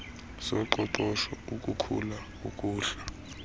zoqoqosho ukukhula ukuhla